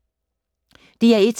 DR1